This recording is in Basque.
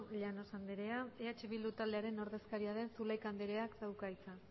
llanos andrea eh bildu taldearen ordezkaria den zulaika andreak dauka hitza